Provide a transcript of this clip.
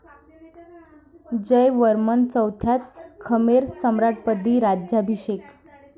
जयवर्मन चौथ्याच खमेर सम्राटपदी राज्याभिषेक.